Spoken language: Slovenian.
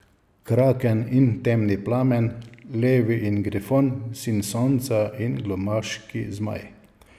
Kraken in temni plamen, lev in grifon, sin sonca in glumaški zmaj.